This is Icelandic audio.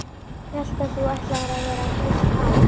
Hélt að þú ætlaðir að vera heilt ár.